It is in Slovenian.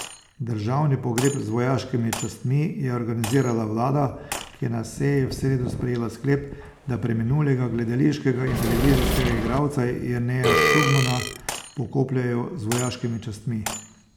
Državni pogreb z vojaškimi častmi je organizirala vlada, ki je na seji v sredo sprejela sklep, da preminulega gledališkega in televizijskega igralca Jerneja Šugmana pokopljejo z vojaškimi častmi.